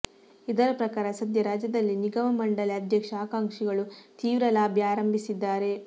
ಇದರ ಪ್ರಕಾರ ಸದ್ಯ ರಾಜ್ಯದಲ್ಲಿ ನಿಗಮ ಮಂಡಳಿ ಅಧ್ಯಕ್ಷ ಆಕಾಂಕ್ಷಿಗಳು ತೀವ್ರ ಲಾಬಿ ಆರಂಭಿಸಿದ್ದಾರೆ